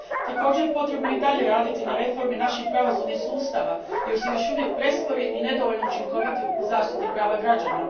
Također potrebno je i dalje raditi na reformi naših pravosudnih sustava jer su još uvijek prespori i neučinkoviti u zaštiti prava građana.